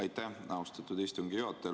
Aitäh, austatud istungi juhataja!